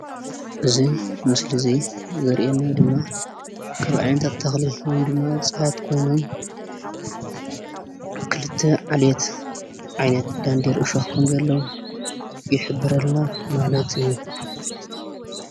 እዚ ምስሊ እዚ ዘሪኢና ድማ ካብ ዓይነታት ተክሊ ወይ ድማ እፅዋት ኮይኖም ክልተ ዓልየት ዓይነት ደንዴር እሾክ ከም ዘለዎ ይሕብረልና ማለት እዩ፡፡